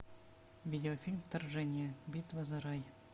видеофильм вторжение битва за рай